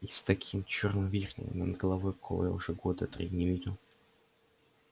и с таким чёрным вихрем над головой какого я уже года три не видел